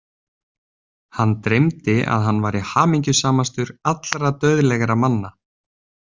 Hann dreymdi að hann væri hamingjusamastur allra dauðlegra manna.